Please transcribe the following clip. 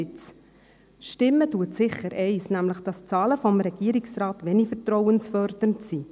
Eines stimmt sicher: nämlich, dass die Zahlen des Regierungsrates wenig vertrauensfördernd sind.